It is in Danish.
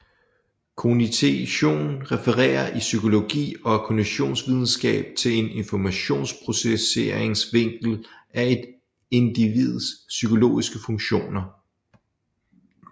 Kognition refererer i psykologi og kognitionsvidenskab til en informationsprocesseringsvinkel af et individs psykologiske funktioner